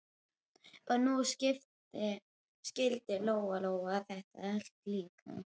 Og nú skildi Lóa-Lóa þetta allt líka.